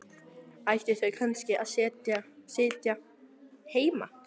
Ættu þau kannski að sitja heima?